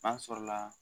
N'a sɔrɔla